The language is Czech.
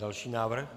Další návrh.